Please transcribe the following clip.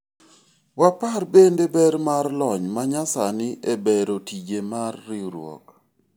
wapar bende ber mar lony ma nya sani e bero tije mar riwruok